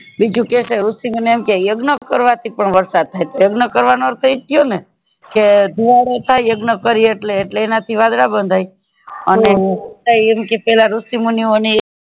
બીજું કેય છે ઋષિ મુની એમ કે યજ્ઞ કરવાથી પણ વરસાદ થાય યજ્ઞ કરવાનો અર્થ એજ થયો ને કે ધુવાડો થાય યજ્ઞ કરીએ એટલે એટલે એનાથી વડલા બંધાય અને તી એમ કે પેલા ઋષિ મુની ઓ ને